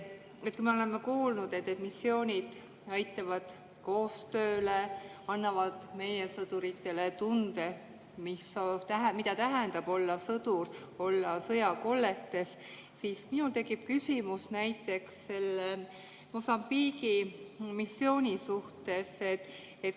Kui me oleme kuulnud, et missioonid aitavad koostööle, annavad meie sõduritele tunde, mida tähendab olla sõdur, olla sõjakoldes, siis minul tekib küsimus näiteks selle Mosambiigi missiooni suhtes.